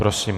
Prosím.